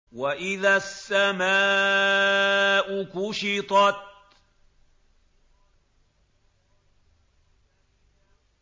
وَإِذَا السَّمَاءُ كُشِطَتْ